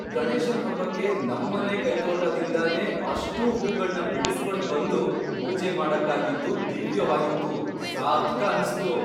ಗಣೇಶನ್ ಹಬ್ಬಕ್ಕೆ ನಮ್ಮನೆ ಕೈತೋಟದಿಂದನೇ ಅಷ್ಟೂ ಹೂಗಳ್ನ ಬಿಡುಸ್ಕೊಂಡ್ ಬಂದು ಪೂಜೆ ಮಾಡಕ್ಕಾಗಿದ್ದು ದಿವ್ಯವಾಗಿತ್ತು, ಸಾರ್ಥಕ ಅನ್ಸ್ತು.